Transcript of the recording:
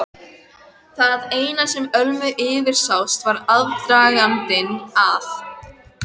Það eina sem Ölmu yfirsást var aðdragandinn að